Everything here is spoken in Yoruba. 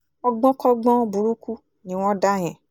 ọgbọ́nkọ́gbọ́n burúkú ni wọ́n ń dá yẹn